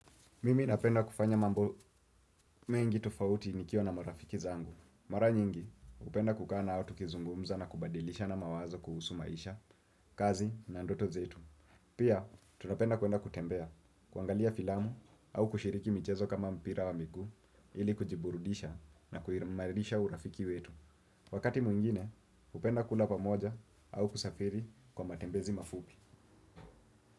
Mimi napenda kufanya mambo mengi tofauti nikiwa na marafiki zangu. Mara nyingi, upenda kukana au tukizungumza na kubadilisha na mawazo kuhusu maisha, kazi na ndoto zetu. Pia, tunapenda kuenda kutembea, kuangalia filamu au kushiriki mchezo kama mpira wa miku, ili kujiburudisha na kuimarisha urafiki wetu. Wakati mwingine, upenda kula pamoja au kusafiri kwa matembezi mafupi.